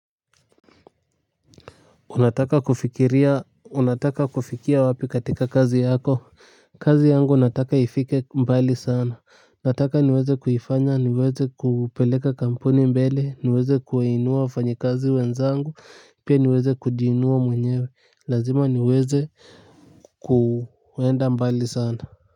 Unataka kufikia wapi katika kazi yako? Kazi yangu nataka ifike mbali sana. Nataka niweze kuifanya niweze kupeleka kampuni mbele, niweze kuwainua wafanyikazi wenzangu pia niweze kujiinua mwenyewe. Lazima niweze kuenda mbali sana.